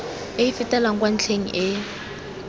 e fetelang kwa ntlheng e